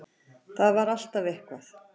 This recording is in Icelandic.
Það var alltaf eitthvað.